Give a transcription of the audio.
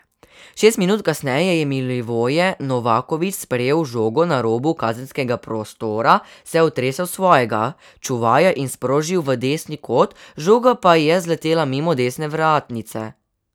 Šest minut kasneje je Milivoje Novaković sprejel žogo na robu kazenskega prostora, se otresel svojega čuvaja in sprožil v desni kot, žoga pa je zletela mimo desne vratnice.